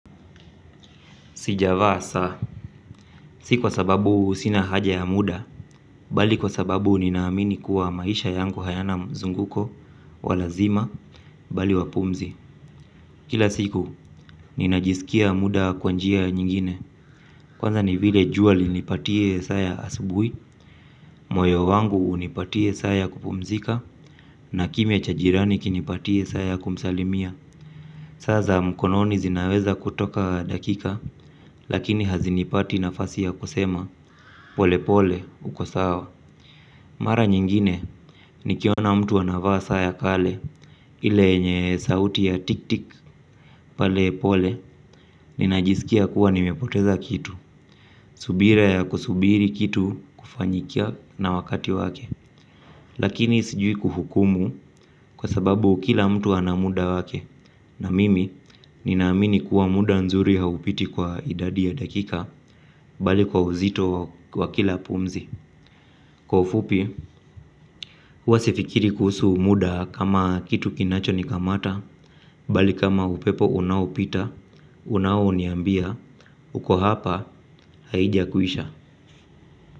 Sijavaa saa, si kwa sababu sina haja ya muda, bali kwa sababu ninaamini kuwa maisha yangu hayana mzunguko, wa lazima, bali wapumzi. Kila siku, ninajisikia muda kwa njia nyingine, kwanza ni vile jua linipatie saa ya asubui, moyo wangu nipatie saa ya kupumzika, na kimya cha jirani kinipatie saa ya kumsalimia. Saa za mkononi zinaweza kutoka dakika lakini hazinipati nafasi ya kusema pole pole uko sawa. Mara nyingine nikiona mtu anavaa saa ya kale ile enye sauti ya tiktik pale pole. Ninajisikia kuwa nimepoteza kitu, subira ya kusubiri kitu kufanyikia na wakati wake. Lakini sijui kuhukumu kwa sababu kila mtu anamuda wake na mimi, ninaamini kuwa muda nzuri haupiti kwa idadi ya dakika, bali kwa uzito wa kila pumzi. Kwa ufupi, huwa sifikiri kuhusu muda kama kitu kinacho nikamata, bali kama upepo unaopita, unaoniambia, uko hapa, haijakuisha.